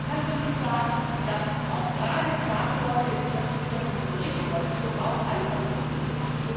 Man kann wirklich sagen, dass gerade klar geworden ist und das wird auch in diesem Bericht deutlich Wir brauchen alle Verkehrsmittel.